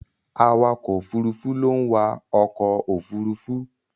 Awakọ̀ Òfurufú ló ń wa ọkọ òfurufú.